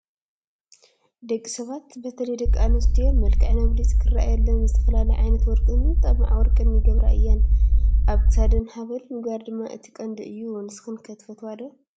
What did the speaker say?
ደቂ ሰባት በተለይ ደቂ ኣንስትዮ መልክዐን ኣብሊፁ ክራኣየለን ዝተፈላለየ ዓይነት ወርቅን ጥማዕ ወርቅን ይገብራ እየን፡፡ ኣብ ክሳደን ሃብል ምግባር ድማ እቲ ቀንዲ እዩ፡፡ ንስኽን ከ ትፈትዋ ዶ?